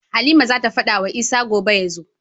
Halima zata fada wa Isa gobe yazo